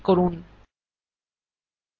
এখন open button click করুন